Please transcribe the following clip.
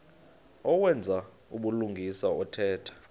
owenza ubulungisa othetha